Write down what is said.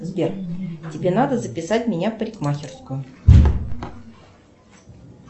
сбер тебе надо записать меня в парикмахерскую